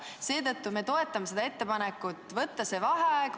Seetõttu me toetame ettepanekut kuulutada välja vaheaeg.